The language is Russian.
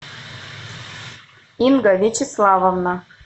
инга вячеславовна